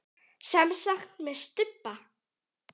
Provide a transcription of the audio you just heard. Semsagt með stubba.